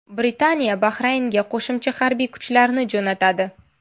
Britaniya Bahraynga qo‘shimcha harbiy kuchlarni jo‘natadi.